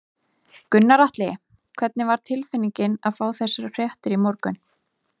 Gunnar Atli: Hvernig var tilfinningin að fá þessar fréttir í morgun?